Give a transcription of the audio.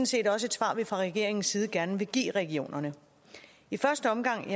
set også et svar vi fra regeringens side gerne vil give regionerne i første omgang